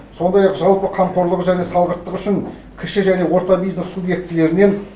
сондай ақ жалпы қамқорлығы және салғырттығы үшін кіші және орта бизнес субъектілерінен